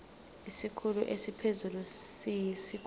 isikhulu esiphezulu siyisikhulu